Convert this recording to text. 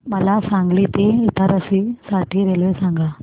मला सांगली ते इटारसी साठी रेल्वे सांगा